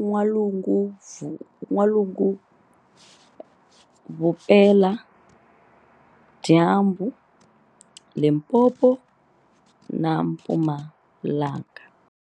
N'walungu-Vupela dyambu, Limpopo na Mpumalanga.